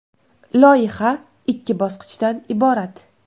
Loyiha ikki bosqichdan iborat.